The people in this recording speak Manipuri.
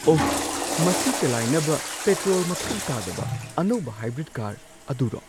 ꯑꯣ! ꯃꯁꯤ ꯆꯂꯥꯏꯅꯕ ꯄꯦꯇ꯭ꯔꯣꯜ ꯃꯊꯧ ꯇꯥꯗꯕ ꯑꯅꯧꯕ ꯍꯥꯏꯕ꯭ꯔꯤꯗ ꯀꯥꯔ ꯑꯗꯨꯔꯣ?